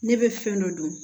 Ne bɛ fɛn dɔ dɔn